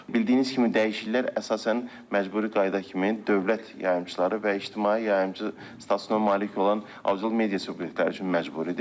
Bildiyiniz kimi dəyişikliklər əsasən məcburi qayda kimi dövlət yayımçıları və ictimai yayımçı statusuna malik olan audiovizual media subyektləri üçün məcburidir.